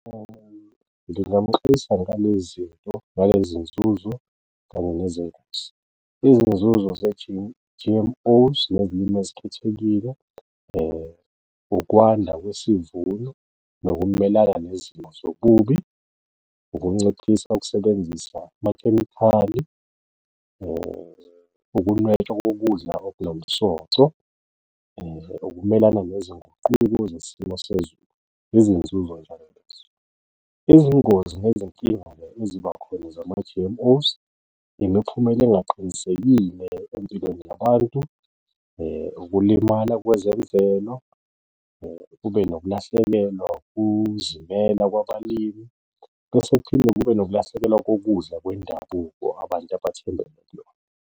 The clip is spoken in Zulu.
Ngingamuxwayisa ngalezi zinto ngale zinzuzo kanye nezongozi, izinzuzo G_M_Os nezilimi ezikhethekile, ukwanda kwesivuno nokumelana nezimo zokubi, ukunciphisa ukusebenzisa amakhemikhali, ukunwetshwa nokudla okunomsoco, ukumelana nezinguquko zesimo sezulu, izinzuzo njalo lezo. Izingozi nezinkinga-ke eziba khona zama-G_M_Os imiphumela engaqinisekile empilweni yabantu, ukulimala kwezemvelo, kube nokulahlekelwa ukuzimela kwabalimi bese kuphinde kube nokulahlekelwa kokudla kwendabuko abantu abathembele kuyona.